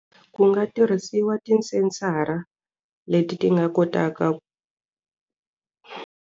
Ku nga tirhisiwa ti-sensor-a leti ti nga kotaka ku.